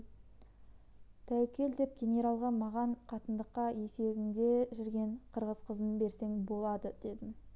тәуекел деп генералға маған қатындыққа есігіңде жүрген қырғыз қызын берсең болады дедім